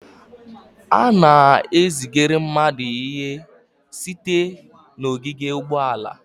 A na-ezigara mmadụ ihe site n'ogige ụgbọala.